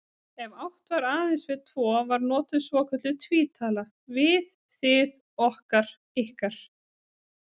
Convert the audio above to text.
Ef átt var aðeins við tvo var notuð svokölluð tvítala, við, þið, okkar, ykkar.